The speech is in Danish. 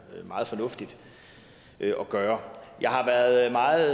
meget fornuftigt at gøre jeg har været meget